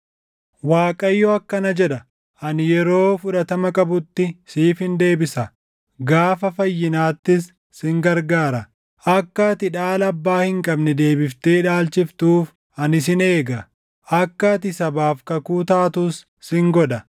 Waaqayyo akkana jedha: “Ani yeroo fudhatama qabutti siifin deebisa; gaafa fayyinaattis sin gargaara; akka ati dhaala abbaa hin qabne deebiftee dhaalchiftuuf, ani sin eega; akka ati sabaaf kakuu taatus sin godha;